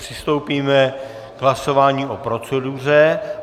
Přistoupíme k hlasování o proceduře.